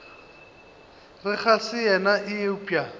re ga se yena eupša